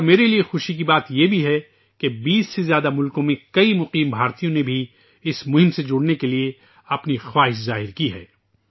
اور میرے لیے خوشی کی بات یہ بھی ہے کہ 20 سے زائد ممالک میں کئی غیر مقیم ہندوستانیوں نے بھی اس مہم میں شامل ہونے کی خواہش ظاہر کی ہے